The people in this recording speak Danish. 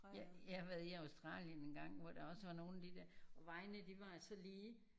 Jeg jeg har været i Australien en gang hvor der også var nogen af de der og vejene de var så lige